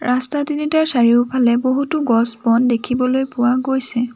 ৰাস্তা তিনিটাৰ চাৰিওফালে বহুতো গছ-বন দেখিবলৈ পোৱা গৈছে।